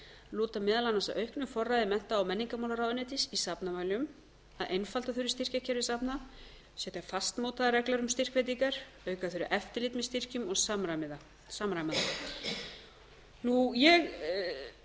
lúta meðal annars að auknu forræði mennta og menningarmálaráðuneytis í safnamálum að einfalda þurfi styrkjakerfi safna setja fastmótaðar reglur um styrkveitingar auka þurfi eftirlit með styrkjum og samræma það ég